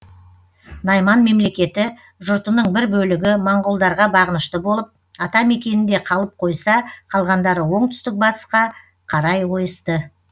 найман мемлекеті жұртының бір бөлігі моңғолдарға бағынышты болып ата мекенінде қалып қойса қалғандары оңтүстік батысқа қарай ойысты